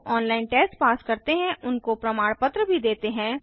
जो online test pass करते हैं उनको प्रमाण पत्र भी देते हैं